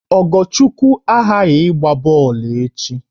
Ogochukwu aghaghị ịgba bọọlụ echi!